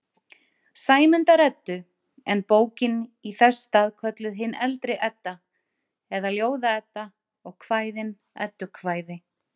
Sæmundar-Eddu, en bókin í þess stað kölluð hin eldri Edda eða Ljóða-Edda og kvæðin eddukvæði.